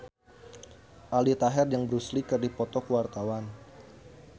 Aldi Taher jeung Bruce Lee keur dipoto ku wartawan